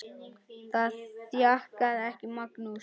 Það þjakaði ekki Magnús.